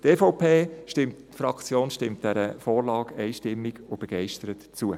Die EVP-Fraktion stimmt dieser Vorlage einstimmig und begeistert zu.